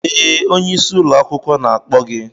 Ee, onye isi ụlọ akwụkwọ na-akpọ gị